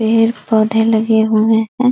पेड़-पौधे लगे हुए हैं।